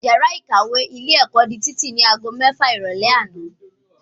Yàrá ìkàwé ilé ẹ̀kọ́ di títì ní ago mẹ́fà ìrọ̀lẹ́ àná